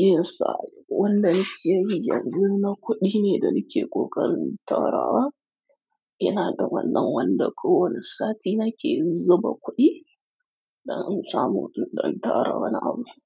Yasa wanda nike yi yanzu na kuɗi ne da nike ƙoƙarin tarawa. Ina da wannan wanda kowani sati nake zuba kuɗi dan in samu ɗan tara wani abu.